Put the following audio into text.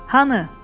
Hanı?